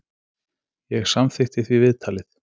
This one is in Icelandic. Ég samþykkti því viðtalið.